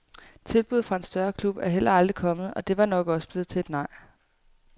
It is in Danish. Tilbudet fra en større klub er heller aldrig kommet, og det var nok også blevet til et nej.